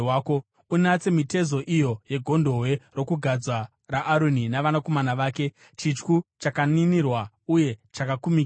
“Unatse mitezo iyo yegondobwe rokugadza raAroni navanakomana vake: chityu chakaninirwa uye chakakumikidzwa.